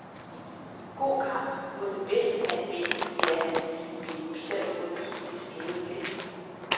God kamp, må den bedste mand vinde, siger han med en bitter ironi i det skæve blik.